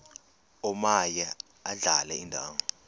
omaye adlale indawo